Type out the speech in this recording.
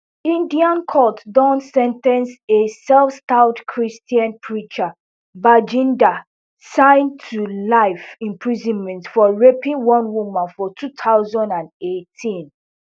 indian court don sen ten ce a selfstyled christian preacher bajinder singh to life imprisonment for raping one woman for two thousand and eighteen